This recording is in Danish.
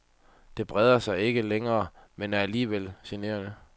Det breder sig ikke længere, men er alligevel generende.